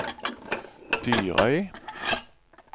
Dyrøy